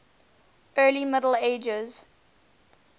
early middle ages